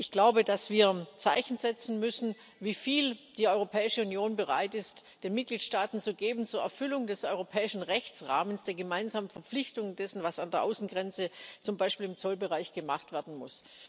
Ich glaube, dass wir Zeichen setzen müssen, wieviel die Europäische Union bereit ist, den Mitgliedstaaten zur Erfüllung des europäischen Rechtsrahmens zu geben, der gemeinsamen Verpflichtung dessen, was an der Außengrenze, zum Beispiel im Zollbereich, gemacht werden muss.